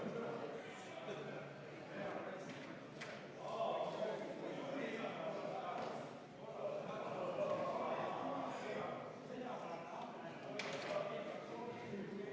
Me hakkame hääletama Eesti Konservatiivse Rahvaerakonna fraktsiooni ja Isamaa fraktsiooni ettepanekut katkestada eelnõu 241 teine lugemine.